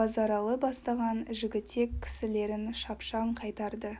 базаралы бастаған жігітек кісілерін шапшаң қайтарды